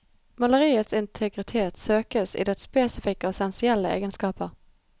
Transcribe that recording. Maleriets integritet søkes i dets spesifikke og essensielle egenskaper.